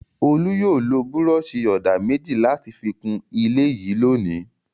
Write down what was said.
Olú yóò lo búrọ́ṣì-ọ̀dà méjì láti fi kún ilé yìí lónìí.